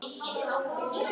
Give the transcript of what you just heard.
Eru kindur gáfaðar?